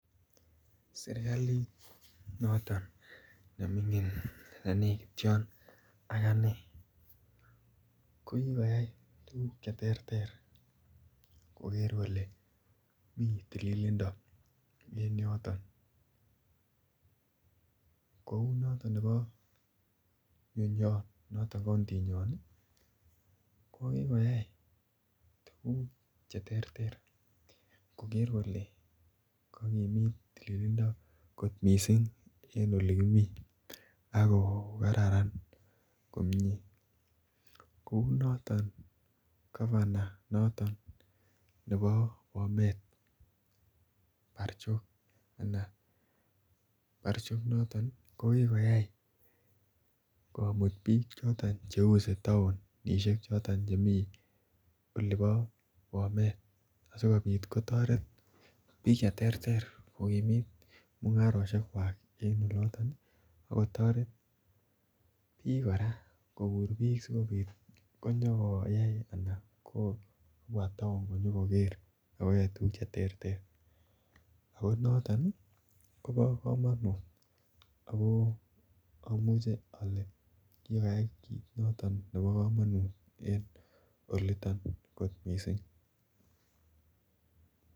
serkaliit noton nemingin nenegityoon ak anee kogigoyaai tuguuk cheterter kogeer kole miii tililindo en yoton, kouu noton neboo nenyoo noton kountinywaan iih, kogigoyai tuguk cheterter kogeer kole kagimiit tililindo kot mising en olegimii ak kogararan komyee, kouu noton governor nebo bomet barchok anan barchok inoton kogigoyaai komuut biik cheuse taonishek choton chemii oleboo bomet sigobiit kotoret biik cheterter kogimiit mungarosheek kwaak en oloton iih, ak kotoret biik koraa koguur biik sigobiit konyogoyaai anan kobwa town konyogoger agoyoe tuguuk cheterter, ago noton iih kobo komonuut ago amuche ole kigoyaai noton nebo komonuut en oliton kot mising.